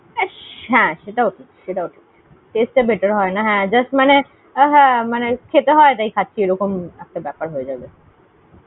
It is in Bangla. হ্যাঁ, সেটা অবশ্য ঠিক, taste টা better হয়না, হ্যাঁ, just মানে খেতে হয় তাই খাচ্ছি এরকম একটা ব্যাপার হয়েযায়। হ্যাঁ exactly ।